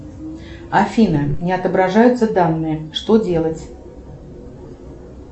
афина не отображаются данные что делать